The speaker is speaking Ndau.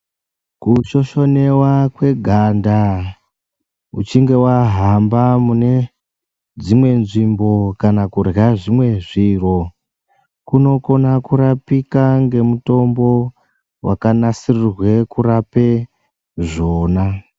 Kushoshonewa kweganda uchinge wahamba mune dzimwe nzvimbo kana kurya zvimwe zviro kunokona kurapika ngemutombo wakanasirirwe kurapa zvona.